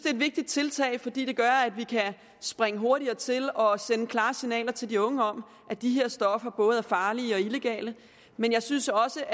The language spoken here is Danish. et vigtigt tiltag fordi det gør at vi kan springe hurtigere til og sende klare signaler til de unge om at de her stoffer både er farlige og illegale men jeg synes også